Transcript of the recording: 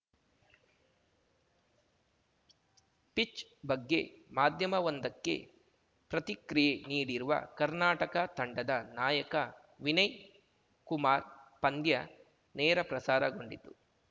pitch pitch ಬಗ್ಗೆ ಮಾಧ್ಯಮವೊಂದಕ್ಕೆ ಪ್ರತಿಕ್ರಿಯೆ ನೀಡಿರುವ ಕರ್ನಾಟಕ ತಂಡದ ನಾಯಕ ವಿನಯ್‌ ಕುಮಾರ್‌ ಪಂದ್ಯ ನೇರಪ್ರಸಾರಗೊಂಡಿತು